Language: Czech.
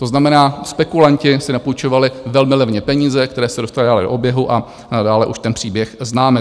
To znamená, spekulanti si napůjčovali velmi levně peníze, které se dostaly dále do oběhu, a dále už ten příběh známe.